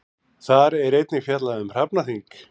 Þar er einnig fjallað um hrafnaþing.